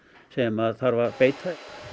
sem þarf að beita